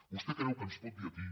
vostè creu que ens pot dir aquí